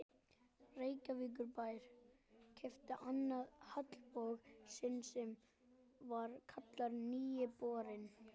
Reykjavíkurbær keypti annan haglabor sinn sem var kallaður Nýi borinn.